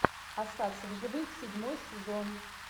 остаться в живых седьмой сезон